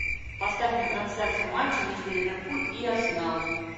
поставь мне трансляцию матча между ливерпуль и арсенал